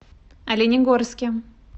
оленегорске